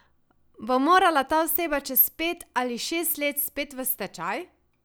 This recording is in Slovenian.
Bo morala ta oseba čez pet ali šest let spet v stečaj?